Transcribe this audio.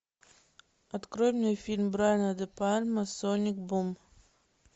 открой мне фильм брайана де пальма соник бум